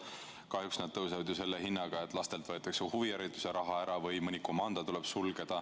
Aga kahjuks tõusevad need selle hinnaga, et lastelt võetakse ära huvihariduse raha või mõni komando suletakse.